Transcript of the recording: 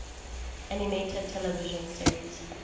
animated television series